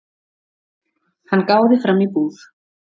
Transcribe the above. Hann gáði fram í búð.